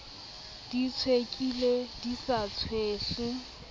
di hlwekile di sa tshwehle